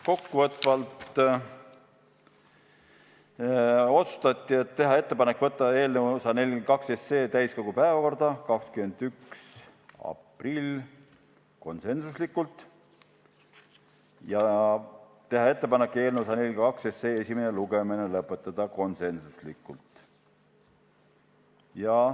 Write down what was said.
Kokkuvõtvalt otsustati teha ettepanek võtta eelnõu 142 täiskogu päevakorda 21. aprilliks ja teha ettepanek eelnõu esimene lugemine lõpetada .